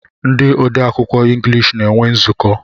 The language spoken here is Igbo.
Ndi ode akwụkwọ englishi na-enwe nzuko